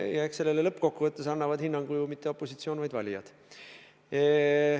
Ja eks sellele lõppkokkuvõttes annab hinnangu mitte opositsioon, vaid valijaskond.